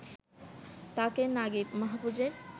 তাঁকে নাগিব মাহফুজের